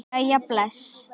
Jæja bless